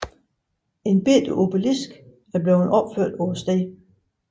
En lille obelisk er blevevt opført på stedet